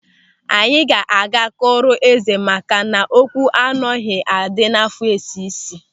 Anyị ga-aga kọọrọ eze maka na okwu anoghi adị n'àfọ esi isi.